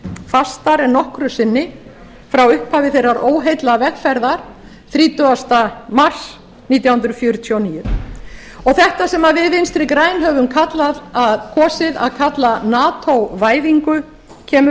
fastar en nokkru sinni frá upphafi þeirrar óheillavegferðar þrítugasta mars nítján hundruð fjörutíu og níu þetta sem við vinstri græn höfum kosið að kalla nato væðingu kemur